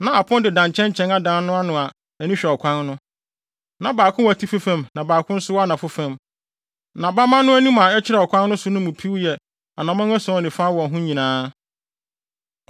Na apon deda nkyɛnkyɛn adan no ano a ani hwɛ ɔkwan no. Na baako wɔ atifi fam na baako nso wɔ anafo fam; na bamma no anim a ɛkyerɛ ɔkwan no so no mu piw yɛ anammɔn ason ne fa wɔ ho nyinaa.